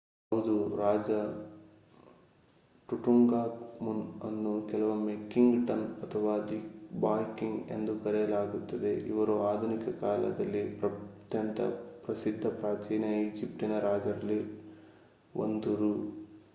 ಹೌದು ರಾಜ ಟುಟಾಂಖಾಮುನ್ ಅನ್ನು ಕೆಲವೊಮ್ಮೆ ಕಿಂಗ್ ಟಟ್ ಅಥವಾ ದಿ ಬಾಯ್ ಕಿಂಗ್ ಎಂದು ಕರೆಯಲಾಗುತ್ತದೆ ಇವರು ಆಧುನಿಕ ಕಾಲದಲ್ಲಿ ಅತ್ಯಂತ ಪ್ರಸಿದ್ಧ ಪ್ರಾಚೀನ ಈಜಿಪ್ಟಿನ ರಾಜರಲ್ಲಿ 1ರು